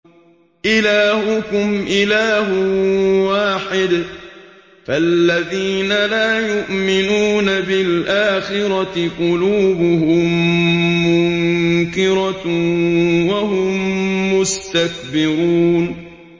إِلَٰهُكُمْ إِلَٰهٌ وَاحِدٌ ۚ فَالَّذِينَ لَا يُؤْمِنُونَ بِالْآخِرَةِ قُلُوبُهُم مُّنكِرَةٌ وَهُم مُّسْتَكْبِرُونَ